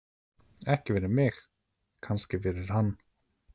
Ekki fyrir mig, kannski fyrir hann.